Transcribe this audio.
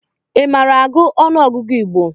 I maara agụ ọnụọgụgụ Igbo?